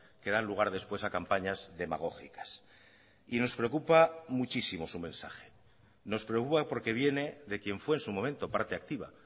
que dan lugar después a campañas demagógicas y nos preocupa muchísimo su mensaje nos preocupa porque viene de quien fue en su momento parte activa